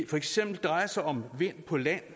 for eksempel drejer sig om vind på land